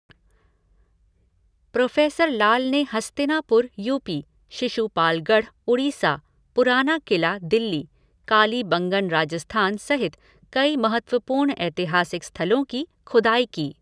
Professor Lal ने Hastinapur UP., Shishupalgarh Orissa, Purana Qila Delhi, Kalibangan Rajasthan सहित कई महत्वपूर्ण ऐतिहासिक स्थलों की खुदाई की।